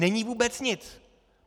Není vůbec nic.